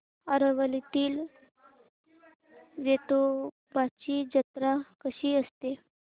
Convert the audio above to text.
आरवलीतील वेतोबाची जत्रा कशी असते